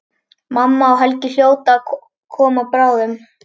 Mamma og Helgi hljóta að koma bráðum.